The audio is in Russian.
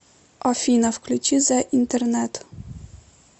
афина включи зе интернет